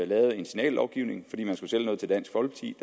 lavede en signallovgivning fordi man